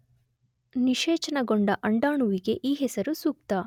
ನಿಶೇಚನಗೊಂಡ ಅಂಡಾಣುವಿಗೆ ಈ ಹೆಸರು ಸೂಕ್ತ.